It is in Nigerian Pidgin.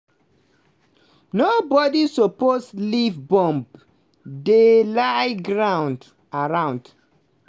nobodi suppose leave bomb dey lie ground. around.